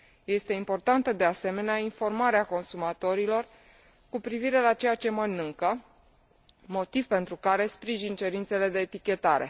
Este importantă, de asemenea, informarea consumatorilor cu privire la ceea ce mănâncă, motiv pentru care sprijin cerințele de etichetare.